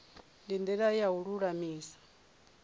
ndi ndila ya u lulamisa